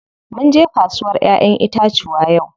Munje kasuwar ƴaƴen itacuwa yau.